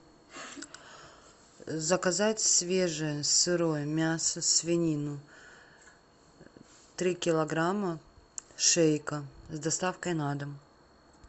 заказать свежее сырое мясо свинину три килограмма шейка с доставкой на дом